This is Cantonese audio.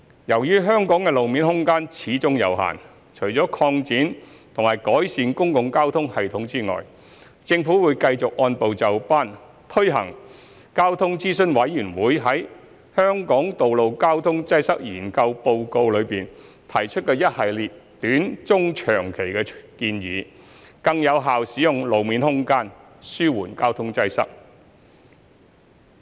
由於香港的路面空間始終有限，除了擴展和改善公共交通系統外，政府會繼續按部就班推行交通諮詢委員會在《香港道路交通擠塞研究報告》中提出的一系列短、中及長期建議，更有效使用路面空間，紓緩交通擠塞。